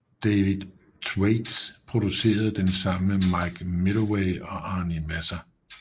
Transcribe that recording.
David Thwaites producerede den sammen med Mike Medavoy og Arnie Messer